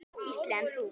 Gísli: En þú?